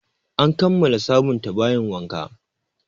An kammala sabunta bayin wanka